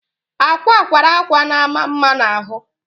akwa akwara akwa na ama mma na ahụ